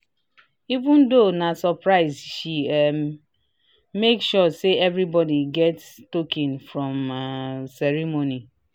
even though na surprise she um make sure say everybody get token from um ceremony."